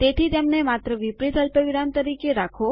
તેથી તેમને માત્ર વિપરીત અલ્પવિરામ તરીકે રાખો